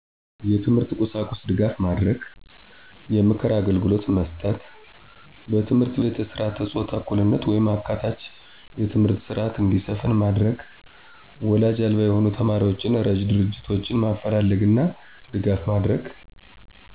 የትምህርት ቁሳቁስ ድጋፍ ማድረግ። የምክር አግልግሎት መስጠት መስጠት። በትምህርት ቤት የስረዓተ ፆታ እኩልነት ወይም አካታች የትምህርት ስረዐት እንዲሰፍን ማድረግ ማድረግ ወላጅ አልባ የሆኑ ተማሪዎችን እረጅ ድርጆቶችን ማፈላለግና ድጋፍ ማድረግ